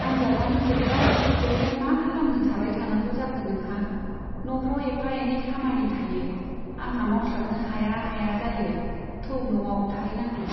आन्जादआनो जोब्बाय , ब्यावलाय मा खालामनो थाबाय थानांगौ जाखो नोंहा ? न'फ्राव एफा एनै खामानि थायो , आंहा मावस्लाबनो हाया हाया जायो , थौ न'आव थाहैनांगौ।